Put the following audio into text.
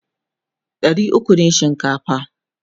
ɗari ukwu ne shinkafa